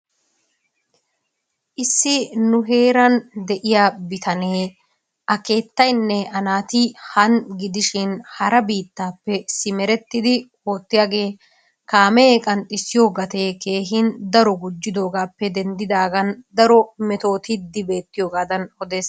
Issi nu heeran de'iyaa bitaanee a keettaynne a naati han gidishin hara biittaappe simerettidi oottiyaagee kaamee qanxxisiyoo gatee daro gujjidoogappe denddidaagan daro metoottidi beetiyoogadan odees.